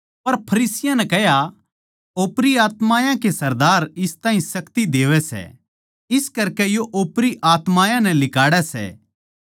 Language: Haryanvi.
पर फरीसियाँ नै कह्या ओपरी आत्मायाँ के सरदार इस ताहीं शक्ति देवै सै इस करकै यो ओपरी आत्मायाँ नै लिकाड़ै सै